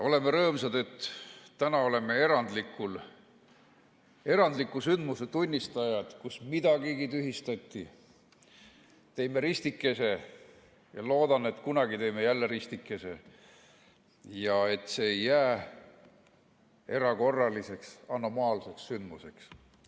Oleme rõõmsad, et täna oleme erandliku sündmuse tunnistajad, kus midagigi tühistati, teeme ristikese ja loodan, et kunagi teeme jälle ristikese ja et see ei jää erakorraliseks anomaalseks sündmuseks.